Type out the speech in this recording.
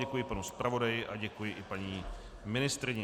Děkuji panu zpravodaji a děkuji i paní ministryni.